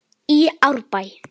í Árbæ.